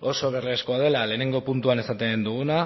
oso beharrezkoa dela lehenengo puntuan esaten duguna